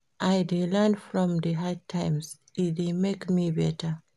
I dey learn from di hard times, e dey make me beta.